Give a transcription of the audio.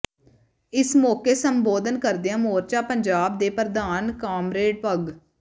ਇਸ ਮੌਕੇ ਸੰਬੋਧਨ ਕਰਦਿਆਂ ਮੋਰਚਾ ਪੰਜਾਬ ਦੇ ਪ੍ਰਧਾਨ ਕਾਮਰੇਡ ਭਗ